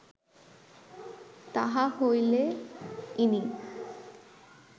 তাহা হইলে ইনি